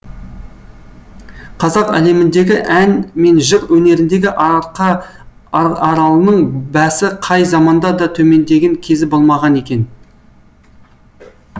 қазақ әлеміндегі ән мен жыр өнеріндегі арқа аралының бәсі қай заманда да төмендеген кезі болмаған екен